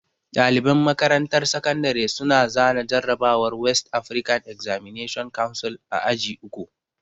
Ɗaliban makarantar sakandare su na zana jarrabawar West Afrikan Examination Council a aji uku